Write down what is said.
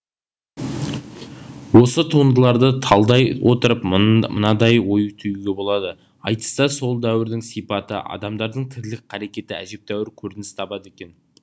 осы туындыларды талдай отырып мынандай ой түюге болады айтыста сол дәуірдің сипаты адамдардың тірлік қарекеті әжептәуір көрініс табады екен